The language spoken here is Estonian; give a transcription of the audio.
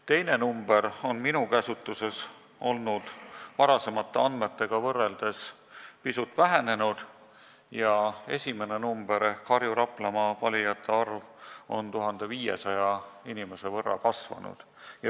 Teine number on minu käsutuses olnud varasemate andmetega võrreldes pisut vähenenud ja esimene number ehk Harju- ja Raplamaa valijate arv on 1500 inimese võrra kasvanud.